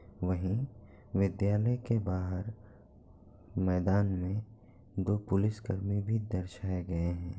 वहीं विद्यालय के बाहर मैदान में दो पुलिसकर्मी भी दर्शाए गए हैं।